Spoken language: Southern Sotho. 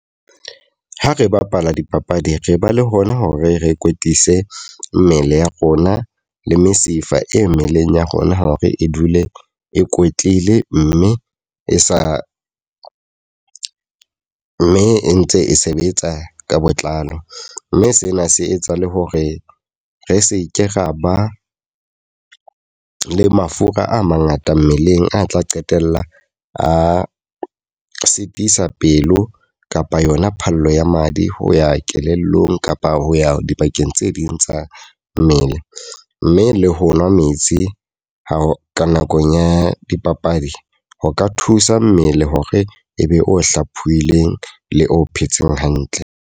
Ha re bapala dipapadi, re ba le hona hore re kwetlise mmele ya rona le mesifa e mmeleng ya rona. Hore e dule e kwetlile mme e sa mme e ntse e sebetsa ka botlalo. Mme sena se etsa le hore re seke ra ba le mafura a mangata mmeleng a tla qetella a sitisa pelo kapa yona phallo ya madi ho ya kelellong kapa ho ya dibakeng tse ding tsa mmele. Mme le ho nwa metsi ka nakong ya dipapadi, ho ka thusa mmele hore e be o hlophoileng le o phetseng hantle.